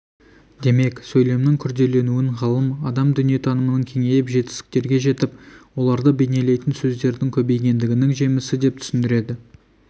демек сөйлемнің күрделенуін ғалым адам дүниетанымының кеңейіп жетістіктерге жетіп оларды бейнелейтін сөздердің көбейгендігінің жемісі деп түсіндіреді